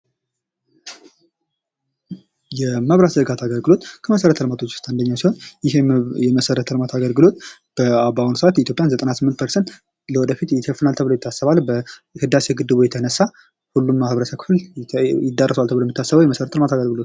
የመብራት ዝርጋታ አገልግሎት ከመሰረተ ልማቶች ውስጥ አንደኛው ሲሆን የመሰረተ ልማት አገልግሎት በአሁኑ ሰዓት የኢትዮጵያን በዘጠናስመንት ፐርሰንት ወደፊት ይሸፍናል ተብሎ ይታሰባል። በህዳሴ ግድቡ የተነሳ ሁሉም የማህበረሰብ ክፍል ይደረሰዋል ተብሎ የሚታሰብ ይመስላል።